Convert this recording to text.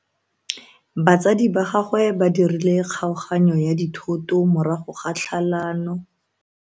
Batsadi ba gagwe ba dirile kgaoganyo ya dithoto morago ga tlhalano.